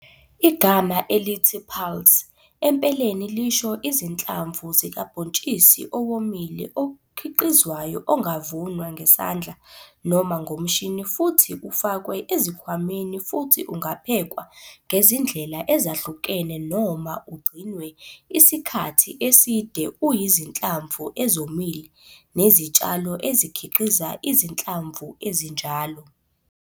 Igama elithi 'pulse' empeleni lisho izinhlamvu zikabhontshisi owomile okhiqizwayo ongavunwa ngesandla noma ngomshini futhi ufakwe ezikhwameni futhi ungaphekwa ngezindlela ezahlukene noma ugcinwe isikhathi eside uyizinhlamvu ezomile nezitshalo ezikhiqiza izinhlamvu ezinjalo.